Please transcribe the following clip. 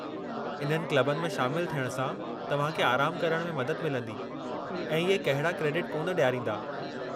इन्हनि क्लबुनि में शामिलु थियणु सां तव्हां खे आरामु करण में मदद मिलंदी, ऐं इहे कहिड़ा क्रेडिट कोन डि॒यारींदा।